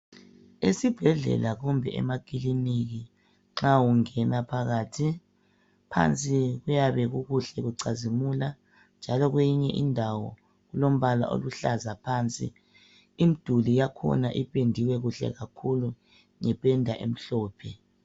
Esibhedlela kumbe emakiliniki nxa ungena phakathi phansi kuyabe kukuhle kucazimula njalo kwenye indawo kulombala oluhlaza phansi , imduli yakhona ipendiwe kuhle kakhulu ngependa emhlophe